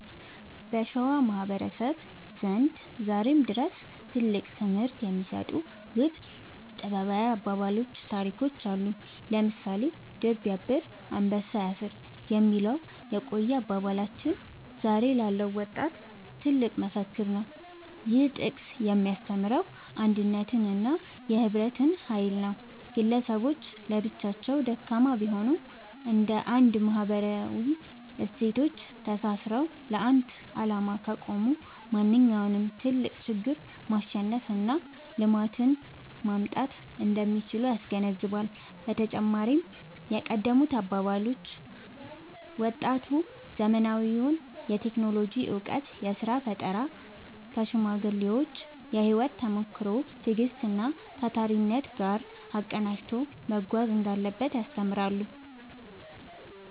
በሸዋ ማህበረሰብ ዘንድ ዛሬም ድረስ ትልቅ ትምህርት የሚሰጡ ውብ ጥበባዊ አባባሎችና ታሪኮች አሉ። ለምሳሌ «ድር ቢያብር አንበሳ ያስር» የሚለው የቆየ አባባላችን ዛሬ ላለው ወጣት ትልቅ መፈክር ነው። ይህ ጥቅስ የሚያስተምረው የአንድነትንና የህብረትን ኃይል ነው። ግለሰቦች ለብቻቸው ደካማ ቢሆኑም፣ እንደ አንድ ማህበራዊ እሴቶች ተሳስረው ለአንድ ዓላማ ከቆሙ ማንኛውንም ትልቅ ችግር ማሸነፍና ልማትን ማምጣት እንደሚችሉ ያስገነዝባል። በተጨማሪም የቀደሙት አባቶች አባባሎች፣ ወጣቱ ዘመናዊውን የቴክኖሎጂ እውቀትና የሥራ ፈጠራ ከሽማግሌዎች የህይወት ተሞክሮ፣ ትዕግስትና ታታሪነት ጋር አቀናጅቶ መጓዝ እንዳለበት ያስተምራሉ።